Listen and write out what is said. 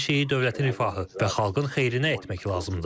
Hər şeyi dövlətin rifahı və xalqın xeyrinə etmək lazımdır.